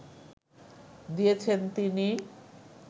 দিয়েছেন তিনি